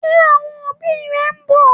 Ṣé àwọn òbí rẹ ń bọ̀?